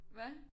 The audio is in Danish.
Hva?